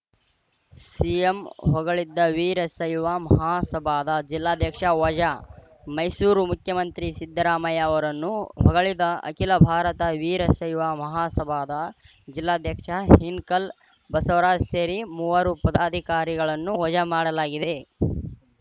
CM ಹೊಗಳಿದ್ದ ವೀರಶೈವ ಮಹಾಸಭಾದ ಜಿಲ್ಲಾಧ್ಯಕ್ಷ ವಜಾ ಮೈಸೂರು ಮುಖ್ಯಮಂತ್ರಿ ಸಿದ್ದರಾಮಯ್ಯ ಅವರನ್ನು ಹೊಗಳಿದ ಅಖಿಲ ಭಾರತ ವೀರಶೈವ ಮಹಾಸಭಾದ ಜಿಲ್ಲಾಧ್ಯಕ್ಷ ಹಿನಕಲ್‌ ಬಸವರಾಜ್‌ ಸೇರಿ ಮೂವರು ಪದಾಧಿಕಾರಿಗಳನ್ನು ವಜಾ ಮಾಡಲಾಗಿದೆ